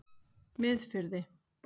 Miðfirði